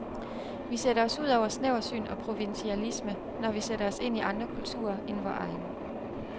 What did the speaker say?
Vi sætter os ud over snæversyn og provinsialisme, når vi sætter os ind i andre kulturer end vor egen.